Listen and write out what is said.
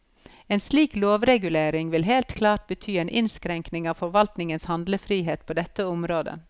En slik lovregulering ville helt klart bety en innskrenking av forvaltningens handlefrihet på dette området.